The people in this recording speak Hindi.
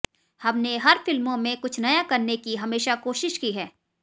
हमने हर फिल्मों में कुछ नया करने की हमेशा कोशिश की है